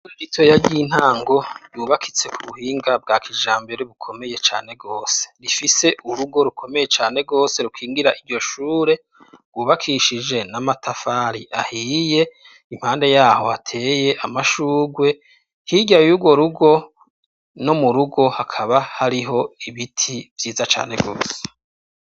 Ishure ritoya ry'intango, yubakitse ku buhinga bwa kijambere bukomeye cane rwose, rifise urugo rukomeye cane rwose, rukingira iryo shure rwubakishije n'amatafari ahiye, impande yaho hateye amashugwe, hirya y'urwo rugo, no mu rugo hakaba hariho ibiti vyiza cane rwose.